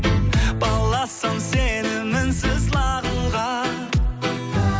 баласам сені мінсіз лағылға